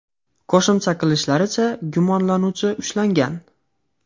Qo‘shimcha qilishlaricha, gumonlanuvchi ushlangan.